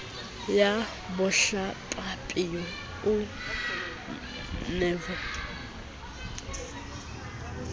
ya bohlabaphio ya rivonia di